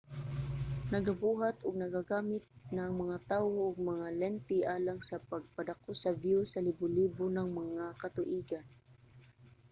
nagabuhat ug nagagamit na ang mga tawo og mga lente alang sa pagpadako sa view sa libo-libo nang mga katuigan